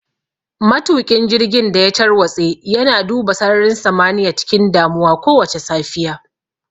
Matuƙin jirgin da ya tarwatse yana duba sararin samaniya cikin damuwa kowace safiya.